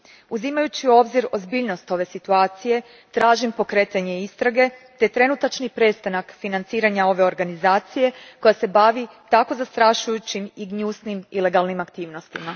Uzimajući u obzir ozbiljnost ove situacije, tražim pokretanje istrage te trenutačni prestanak financiranja ove organizacije koja se bavi takvim zastrašujućim i gnjusnim ilegalnim aktivnostima.